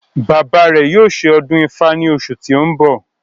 Bàbá rẹ̀ yóò ṣe ọdún ifá ní oṣù tí ó ń bọ̀